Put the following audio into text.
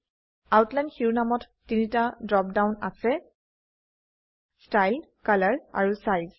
outline শিৰোনামত তিনটা drop down আছে ষ্টাইল কলৰ আৰু চাইজ